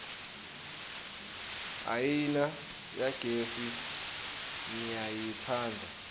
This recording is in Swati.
iayina yagesi ngiyayitsandza